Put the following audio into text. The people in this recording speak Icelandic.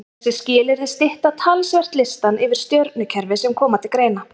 Þessi skilyrði stytta talsvert listann yfir stjörnukerfi sem koma til greina.